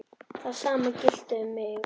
Það sama gilti um mig.